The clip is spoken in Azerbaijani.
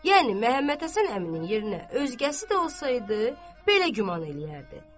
Yəni Məmmədhəsən əminin yerinə özgəsi də olsaydı, belə güman eləyərdi.